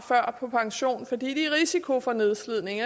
på pension fordi de er i risiko for nedslidning